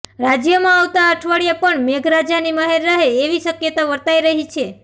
રાજ્યમાં આવતા અઠવાડિયે પણ મેઘરાજાની મહેર રહે એવી શક્યતા વર્તાઈ રહી છે